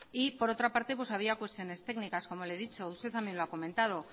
y por otra parte había cuestiones técnicas como le he dicho usted también lo ha comentado